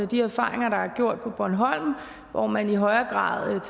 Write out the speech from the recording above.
de erfaringer der er gjort på bornholm hvor man i højere grad har